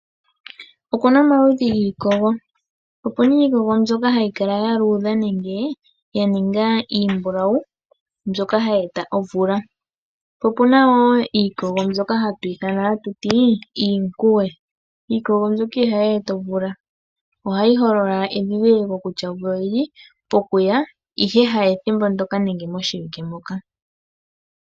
Okuna omaludhi giikogo, opuna iikogo mbyoka hayi kala yaluudha nenge yaninga iimbulawu mbyoka hayi ita omvula. Po omuna wo iikogo mbyoka hatu ithana iikuwe, iikogo mbyoka ihayi eta omvula ohayi holila endhindhiliko kutya omvula oyili pokuya ihe ha pethimbo ndyoka nenge moshiwike moka.